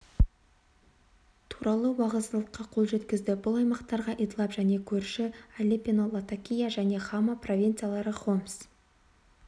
туралы уағдаластыққа қол жеткізді бұл аймақтарға идлиб және көрші алеппо латакия және хама провинциялары хомс